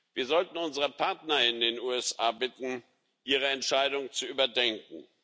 Wir sollten unsere Partner in den USA bitten, ihre Entscheidung zu überdenken.